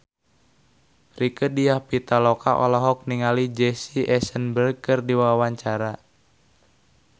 Rieke Diah Pitaloka olohok ningali Jesse Eisenberg keur diwawancara